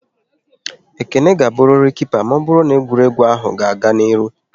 Ekene ga-aburiri Kipa maọbụru n'egwuregwu ahụ ga-aga n'ihu!